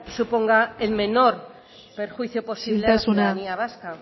suponga el menor perjuicio posible a la ciudadanía vasca